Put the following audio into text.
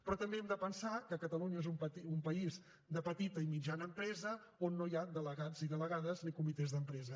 però també hem de pensar que catalunya és un país de petita i mitjana empresa on no hi ha ni delegats ni delegades ni comitès d’empresa